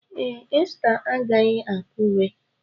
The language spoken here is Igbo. Ee, Esther agaghị Akure.